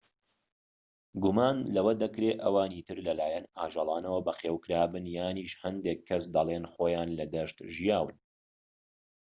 گومان لەوە دەکرێ ئەوانی تر لەلایەن ئاژەڵانەوە بەخێوکرابن یانیش هەندێك کەس دەلێن خۆیان لە دەشت ژیاون